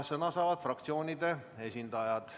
Sõna saavad fraktsioonide esindajad.